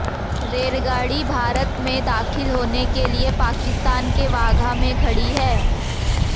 रेलगाड़ी भारत में दाखिल होने के लिए पाकिस्तान के वाघा में खड़ी है